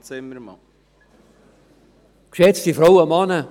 Ich danke Ihnen vielmals dafür, dass Sie sich mit diesem Thema befasst haben.